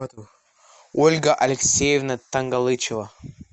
ольга алексеевна тангалычева